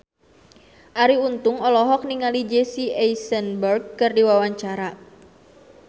Arie Untung olohok ningali Jesse Eisenberg keur diwawancara